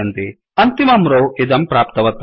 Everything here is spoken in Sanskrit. अन्तिमं रौ इदं प्राप्तवत् अस्ति